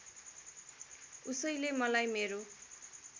उसैले मलाई मेरो